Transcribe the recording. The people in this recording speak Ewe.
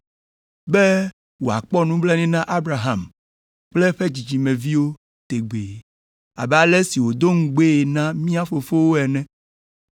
be wòakpɔ nublanui na Abraham kple eƒe dzidzimeviwo tegbee, abe ale si wòdo ŋugbee na mía fofowo ene.”